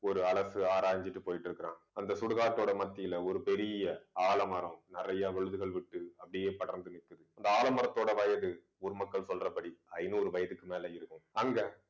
ஒரு அலசு ஆராய்ஞ்சிட்டு போயிட்டு இருக்குறான் அந்த சுடுகாட்டோட மத்தியிலே ஒரு பெரிய ஆலமரம் நிறைய விழுதுகள் விட்டு அப்படியே படர்ந்து நிக்குது அந்த ஆலமரத்தோட வயது ஊர் மக்கள் சொல்றபடி ஐநூறு வயதுக்கு மேலே இருக்கும் அங்க